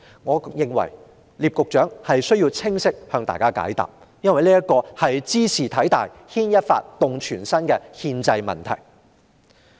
我認為聶局長需要清晰解答這個問題，因為茲事體大，是牽一髮而動全身的憲制問題。